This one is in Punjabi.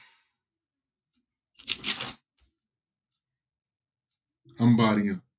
ਅੰਬਾਰੀਆ